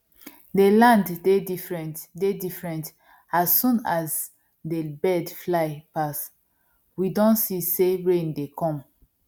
dey land dey different dey different as soon as dey birds fly pass we don see sey rain dey come